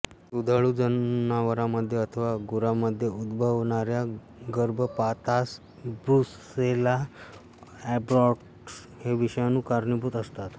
दुधाळू जनावरांमध्ये अथवा गुरांमध्ये उद्भवणाऱ्या गर्भपातास ब्रुसेल्ला एबॉर्टस् हे विषाणू कारणीभूत असतात